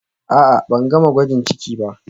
A'a, ban gama gwajin ciki ba